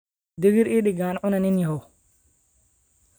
digir ii dhig aan cunee nin yahow.